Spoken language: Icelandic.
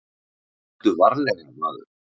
Aktu varlega, maður.